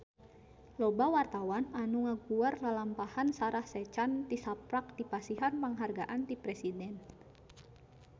Loba wartawan anu ngaguar lalampahan Sarah Sechan tisaprak dipasihan panghargaan ti Presiden